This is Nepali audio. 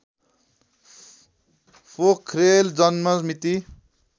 पोखरेल जन्म मिति